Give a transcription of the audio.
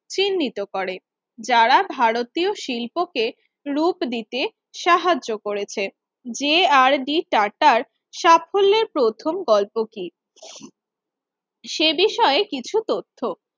চিহ্নিত করে তারা ভারতীয় শিল্পকে লুপ দিতে সাহায্য করেছে যে আর ডি টাটার সাফল্যের প্রথম গল্প কি সে বিষয়ে কিছু তথ্য